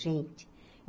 Gente!